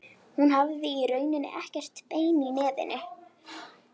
Hún hafði í rauninni ekkert bein í nefinu.